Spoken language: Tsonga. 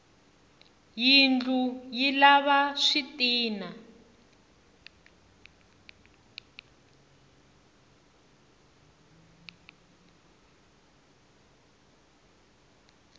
yindlu yi lava switina